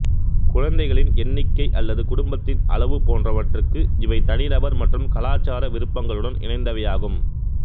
குழந்தைகளின் எண்ணிக்கை அல்லது குடும்பத்தின் அளவு போன்றவற்றுக்கு இவை தனிநபர் மற்றும் கலாச்சார விருப்பங்களுடன் இணைந்தவையாகும்